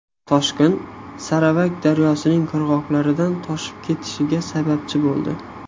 Toshqin Saravak daryosining qirg‘oqlaridan toshib ketishiga sababchi bo‘ldi.